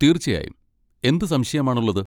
തീർച്ചയായും, എന്ത് സംശയം ആണുള്ളത്?